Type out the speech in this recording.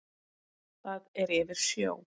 Það er yfir sjó.